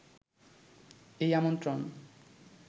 এই আমন্ত্রণ